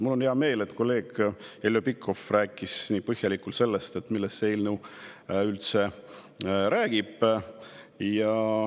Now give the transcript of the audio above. Mul on hea meel, et kolleeg Heljo Pikhof rääkis nii põhjalikult, millest see eelnõu üldse räägib.